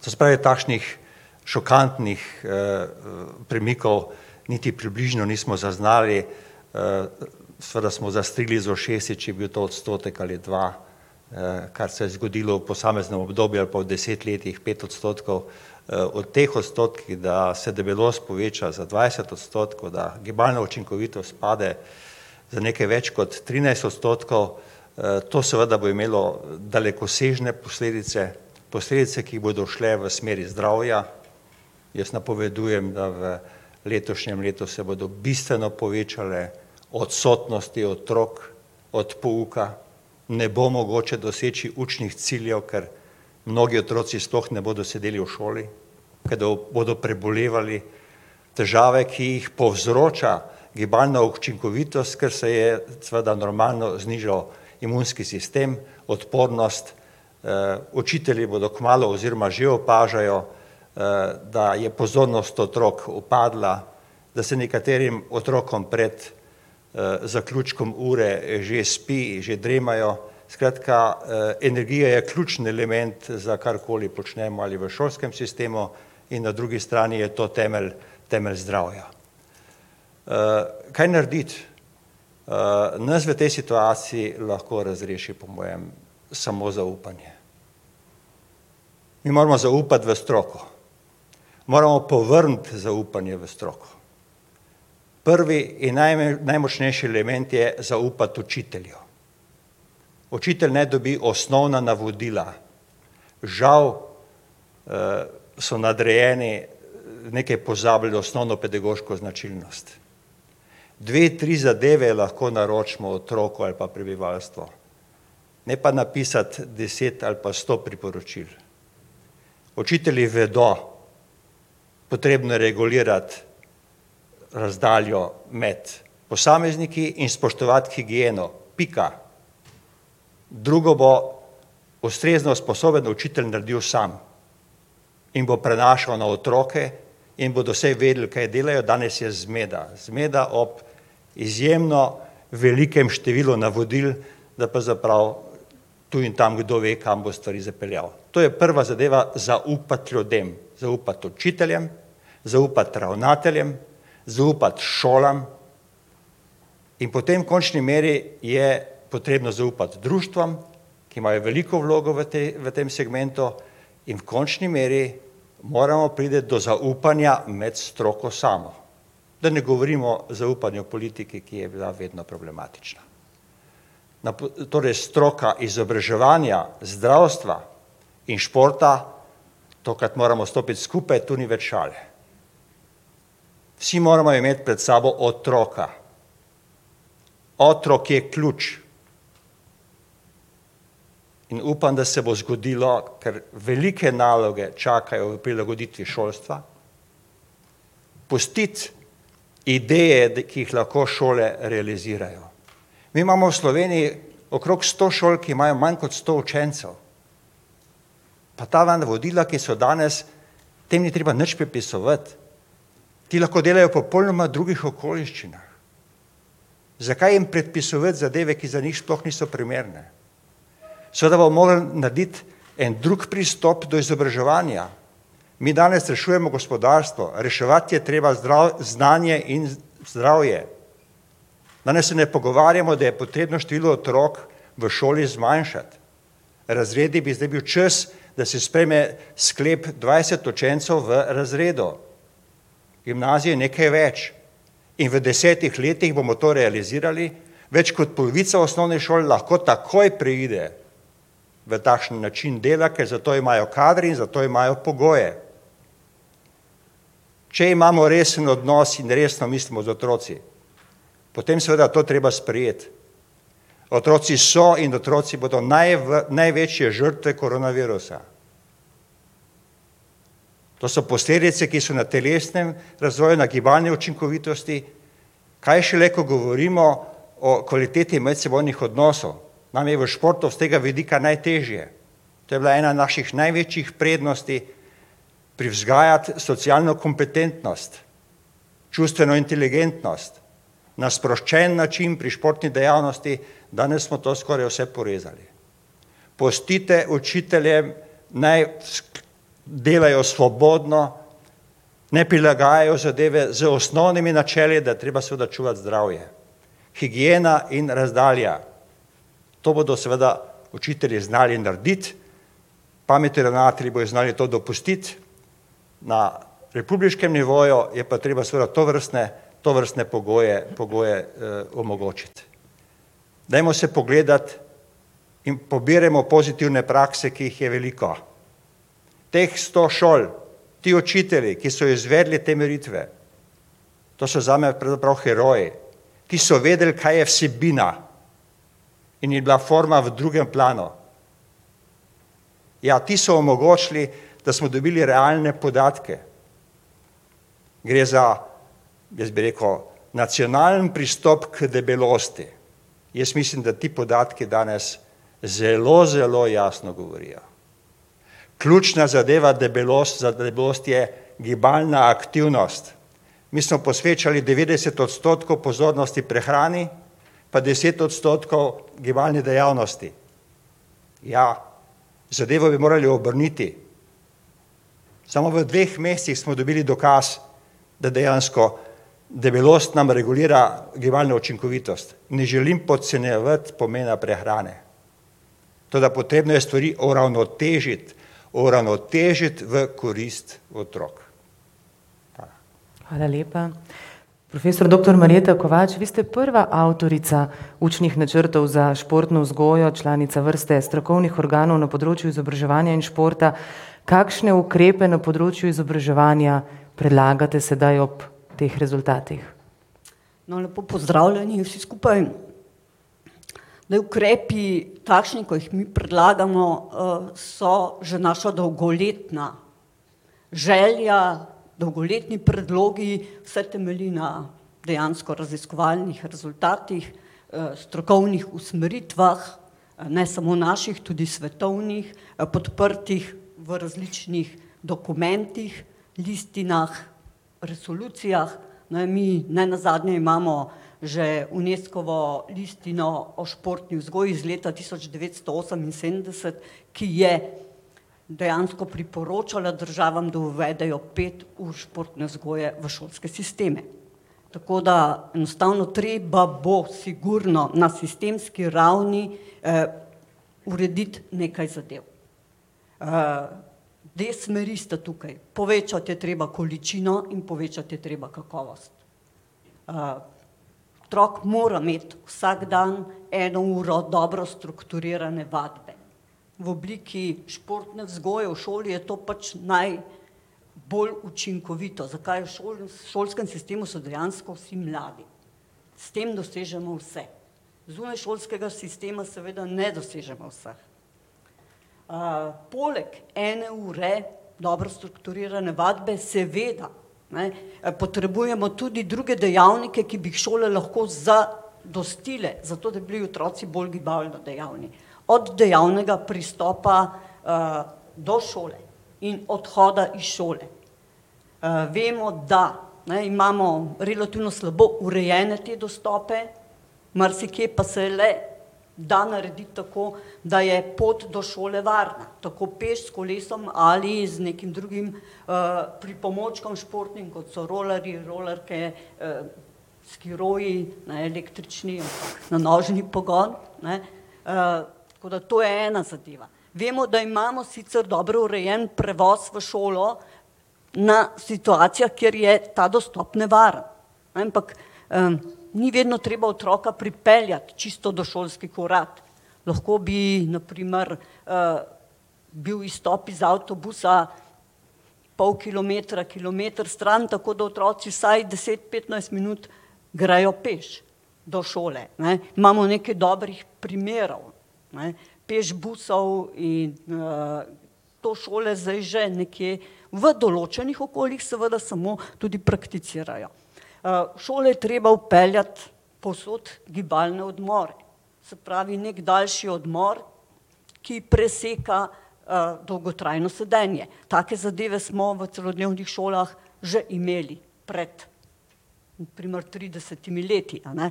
To se pravi takšnih šokantnih premikov niti približno nismo zaznali, seveda smo zastrigli z ušesi, če je bil to odstotek ali dva, kar se je zgodilo v posameznem obdobju ali pa v deset letih pet odstotkov. o teh odstotkih, da se debelost poveča za dvajset odstotkov, da gibalna učinkovitost pade za nekaj več kot trinajst odstotkov, to seveda bo imelo dalekosežne posledice, posledice, ki bodo šle v smeri zdravja. Jaz napovedujem, da v letošnjem letu se bodo bistveno povečale odsotnosti otrok od pouka. Ne bo mogoče doseči učnih ciljev, ker mnogi otroci sploh ne bodo sedeli v šoli, ker do bodo prebolevali težave, ki jih povzroča gibalna učinkovitost, kar se je, seveda normalno znižal imunski sistem, odpornost učitelji bodo kmalu, oziroma že opažajo da je pozornost otrok upadla, da se nekaterim otrokom pred zaključkom ure že spi, že dremajo. Skratka, energija je ključen element za karkoli počnemo, ali v šolskem sistemu in na drugi strani je to temelj, temelj zdravja. kaj narediti? nas v tej situaciji lahko razreši po mojem samo zaupanje. Mi moramo zaupati v stroko, moramo povrniti zaupanje v stroko. Prvi in najmočnejši element je zaupati učitelju. Učitelj naj dobi osnovna navodila. Žal, so nadrejeni nekje pozabili osnovno pedagoško značilnost. Dve, tri zadeve lahko naročimo otroku ali pa prebivalstvu, ne pa napisati deset ali pa sto priporočil. Učitelji vedo, potrebno je regulirati razdaljo med posamezniki in spoštovati higieno, pika. Drugo bo ustrezno usposobiti učitelje, da naredijo sami in bo prenašal na otroke in bodo vsaj vedeli, kaj delajo, danes je zmeda. Zmeda ob izjemno velikem številu navodil, da pravzaprav tu in tam kdo ve kam bo stvari zapeljal. To je prva zadeva, zaupati ljudem - zaupati učiteljem, zaupati ravnateljem, zaupati šolam in potem v končni meri je potrebno zaupati društvom, ki imajo veliko vlogo v tej, v tem segmentu in v končni meri moramo priti do zaupanja med stroko samo. Da ne govorimo o zaupanju politiki, ki je bila vedno problematična. Na torej stroka izobraževanja zdravstva in športa, tokrat moramo stopiti skupaj, tu ni več šale. Vsi moramo imeti pred sabo otroka. Otrok je ključ. In upam, da se bo zgodilo, ker velike naloge čakajo prilagoditvi šolstva, pustiti ideje, da, ki jih lahko šole realizirajo. Mi imamo v Sloveniji okrog sto šol, ki imajo manj kot sto učencev. Pa ta navodila, ki so danes, te ni treba nič prepisovati. Ti lahko delajo v popolnoma drugih okoliščinah. Zakaj jim predpisovati zadeve, ki za njih sploh niso primerne? Seveda bomo morali narediti en drug pristop do izobraževanja. Mi danes rešujemo gospodarstvo, reševati je treba znanje in zdravje. Danes se ne pogovarjamo, da je potrebno število otrok v šoli zmanjšati, razredi bi zdaj bil čas, da se sprejme sklep - dvajset učencev v razredu. Gimnazije nekaj več. In v desetih letih bomo to realizirali. Več kot polovica osnovnih šol lahko takoj preide v takšen način dela, ker zato imajo kader in zato imajo pogoje. Če imamo resen odnos in resno mislimo z otroki, potem seveda to treba sprejeti. Otroci so in otroci bodo največje žrtve koronavirusa. To so posledice, ki so na telesnem razvoju, na gibalni učinkovitosti, kaj šele, ko govorimo o kvaliteti medsebojnih odnosov, nam je v športu iz tega vidika najtežje. To je bila ena naših največjih prednosti - privzgajati socialno kompetentnost, čustveno inteligentnost, na sproščen način pri športni dejavnosti, danes smo to skoraj vse porezali. Pustite učiteljem, naj delajo svobodno, naj prilagajajo zadeve z osnovnimi načeli, da je treba seveda čuvati zdravje - higiena in razdalja. To bodo seveda učitelji znali narediti, pametni ravnatelji bojo znali to dopustiti, na republiškem nivoju je pa treba seveda tovrstne, tovrstne pogoje, pogoje omogočiti. Dajmo se pogledati in pobirajmo pozitivne prakse, ki jih je veliko. Teh sto šol, ti učitelji, ki so izvedli te meritve, to so zame pravzaprav heroji. Ti so vedeli, kaj je vsebina in je bila forma v drugem planu. Ja, ti so omogčili, da smo dobili realne podatke. Gre za, jaz bi rekel, nacionalni pristop k debelosti. Jaz mislim, da ti podatki danes zelo, zelo jasno govorijo. Ključna zadeva za debelost je gibalna aktivnost. Mi smo posvečali devetdeset odstotkov pozornosti prehrani pa deset odstotkov gibalni dejavnosti. Ja, zadevo bi morali obrniti. Samo v dveh mesecih smo dobili dokaz, da dejansko debelost nam regulira gibalno učinkovitost. Ne želim podcenjevati pomena prehrane, toda potrebno je stvari uravnotežiti, uravnotežiti v korist otrok. Hvala. Hvala lepa. Profesor doktor [ime in priimek] , vi ste prva avtorica učnih načrtov za športno vzgojo, članica vrste strokovnih organov na področju izobraževanja in športa. Kakšne ukrepe na področju izobraževanja predlagate sedaj ob teh rezultatih? No, lepo pozdravljeni vsi skupaj. Zdaj ukrepi, takšni, ko jih mi predlagamo, so že naša dolgoletna želja, dolgoletni predlogi, vse temelji na dejansko raziskovalnih rezultatih, strokovnih usmeritvah, ne samo naših, tudi svetovnih, podprtih v različnih dokumentih, listinah, resolucijah. Naj mi, nenazadnje imamo že Unescovo listino o športni vzgoji iz leta tisoč devetsto oseminsedemdeset, ki je dejansko priporočala držav, da uvedejo pet ur športne vzgoje v šolske sisteme. Tako da enostavno treba bo, sigurno, na sistemski ravni urediti nekaj zadev. dve smeri sta tukaj - povečati je treba količino in povečati je treba kakovost. otrok mora imeti vsak dan eno uro dobro strukturirane vadbe. V obliki športne vzgoje v šoli je to pač naj bolj učinkovito, zakaj, v šolskem sitemu so dejansko vsi mladi. S tem dosežemo vse. Zunaj šolskega sistema seveda ne dosežemo vseh. poleg ene ure dobro strukturirane vadbe seveda, ne, potrebujemo tudi druge dejavnike, ki bi jih šole lahko za- dostile, zato da bi bili otroci bolj gibalno dejavni. Od dejavnega pristopa do šole in odhoda iz šole. Vemo, da, ne, imamo relativno slabo urejene te dostope, marsikje pa se le da narediti tako, da je pot do šole varna - tako peš, s kolesom ali z nekim drugim pripomočkom športnim, kot so rolerji, rolerke, skiroji, ne električni, ampak na nožni pogon, ne. tako da to je ena zadeva. Vemo, da imamo sicer dobro urejen prevoz v šolo na situacijo, kjer je ta dostop nevaren, ne. Ampak ni vedno treba otroka pripeljati čisto do šolskih vrat. Lahko bi na primer bil izstop iz avtobusa pol kilometra, kilometer stran, tako da otroci vsaj deset, petnajst minut grejo peš do šole, ne. Imamo nekaj dobrih primerov, ne, peš busov in to šole zdaj že nekje v določenih okoljih seveda samo tudi prakticirajo. v šole je treba vpeljati povsod gibalne odmore. Se pravi neki daljši odmor, ki preseka dolgotrajno sedenje. Take zadeve smo v celodnevnih šolah že imeli pred na primer tridesetimi leti, a ne.